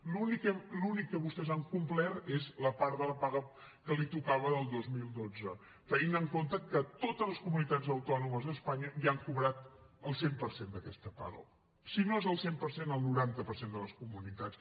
l’únic que vostès han complert és la part de la paga que els tocava del dos mil dotze tenint en compte que totes les comunitats autònomes d’espanya ja han cobrat el cent per cent d’aquesta paga si no són el cent per cent el noranta per cent de les comunitats